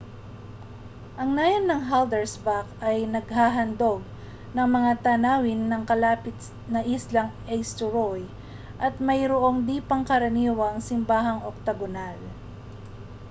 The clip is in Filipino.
ang nayon ng haldarsvã­k ay naghahandog ng mga tanawin ng kalapit na islang eysturoy at mayroong di-pangkaraniwang simbahang oktagonal